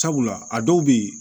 Sabula a dɔw bɛ ye